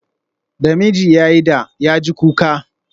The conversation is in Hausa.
Da miji ya yi da, ya ji kuka